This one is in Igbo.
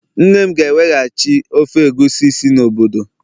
nne m ga-eweghachi ofe egusi si n'obodo